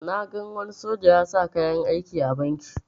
Na gan wani soja ya sa kayan aiki a banki